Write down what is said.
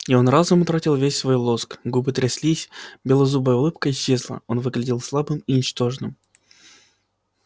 и он разом утратил весь свой лоск губы тряслись белозубая улыбка исчезла он выглядел слабым и ничтожным